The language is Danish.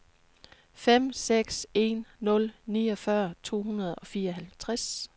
fem seks en nul niogfyrre to hundrede og fireoghalvtreds